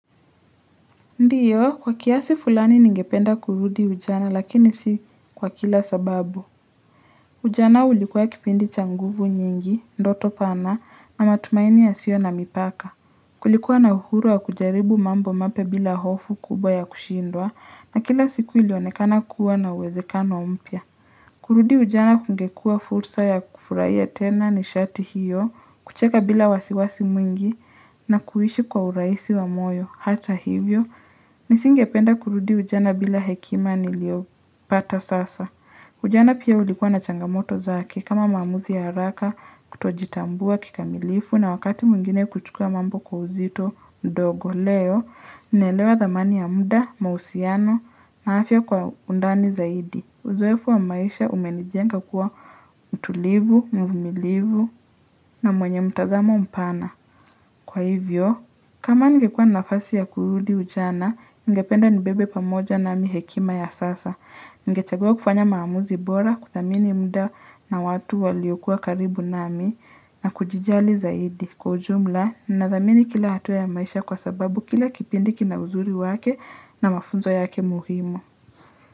Ndiyo kwa kiasi fulani ningependa kurudi ujana lakini si kwa kila sababu. Ujana ulikuwa kipindi cha nguvu nyingi, ndoto pana na matumaini yasio na mipaka. Kulikuwa na uhuru wa kujaribu mambo mapya bila hofu kubwa ya kushindwa na kila siku ilionekana kuwa na uwezekano mpya. Kurudi ujana kungekua fursa ya kufurahia tena nishati hiyo, kucheka bila wasiwasi mwingi na kuishi kwa urahisi wa moyo, hata hivyo, nisingependa kurudi ujana bila hekima niliopata sasa. Ujana pia ulikuwa na changamoto zaki kama maamuzi ya haraka kutojitambua kikamilifu na wakati mwingine kuchukua mambo kwa uzito ndogo leo, naelewa dhamani ya muda, mahusiano na afya kwa undani zaidi. Uzoefu wa maisha umenijenga kuwa mtulivu, mvumilivu na mwenye mtazamo mpana. Kwa hivyo, kama nigekua nafasi ya kurudi ujana, ningependa nibebe pamoja nami hekima ya sasa. Ngechagua kufanya maamuzi bora, kuthamini muda na watu waliokua karibu na mi, na kujijali zaidi. Kwa ujumla, nadhamini kila hatuwa ya maisha kwa sababu kila kipindi kina uzuri wake na mafunzo yake muhimu.